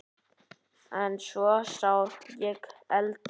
En svo sá ég eldinn.